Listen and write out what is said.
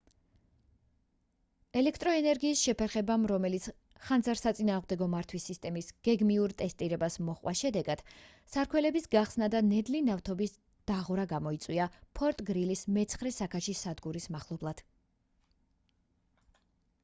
ელექტროენერგიის შეფერხებამ რომელიც ხანძარსაწინააღმდეგო მართვის სისტემის გეგმიურ ტესტირებას მოჰყვა შედეგად სარქველების გახსნა და ნედლი ნავთობის დაღვრა გამოიწვია ფორტ გრილის მე-9 საქაჩი სადგურის მახლობლად